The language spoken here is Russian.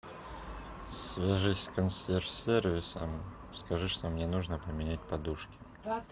свяжись с консьерж сервисом скажи что мне нужно поменять подушки